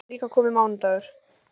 Þá var líka kominn mánudagur.